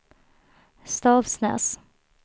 Stavsnäs